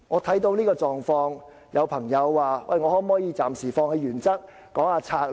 看到這個狀況，有朋友問我可否暫時放棄原則，講求策略。